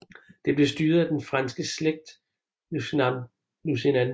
Det blev styret af den franske slægt Lusignan